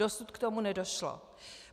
Dosud k tomu nedošlo.